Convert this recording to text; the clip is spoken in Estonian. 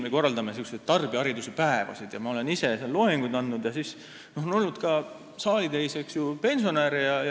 Me korraldame ka tarbijahariduse päevi, kus ma olen ka ise loenguid andnud, ja seal on olnud ka saalitäis pensionäre.